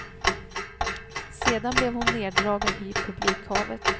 Sedan blev hon neddragen i publikhavet.